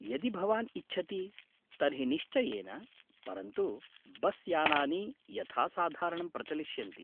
यदि भवान् इच्छति तर्हि निश्चयेन, परन्तु बस्यानानि यथासाधारणं प्रचलिष्यन्ति।